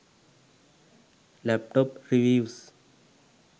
laptop reviews